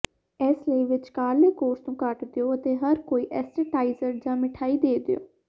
ਇਸ ਲਈ ਵਿਚਕਾਰਲੇ ਕੋਰਸ ਨੂੰ ਕੱਟ ਦਿਓ ਅਤੇ ਹਰ ਕੋਈ ਐਸਟੇਟਾਈਜ਼ਰ ਜਾਂ ਮਿਠਾਈ ਦੇ ਦਿਓ